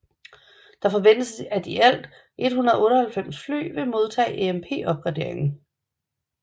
Det forventes at i alt 198 fly vil modtage AMP opgraderingen